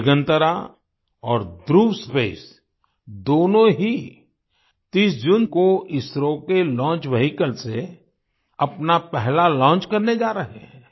दिगंतरा और ध्रुव स्पेस दोनों ही 30 जून को इसरो के लॉन्च वेहिकल से अपना पहला लॉन्च करने जा रहे हैं